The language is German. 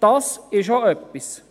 Das ist auch etwas.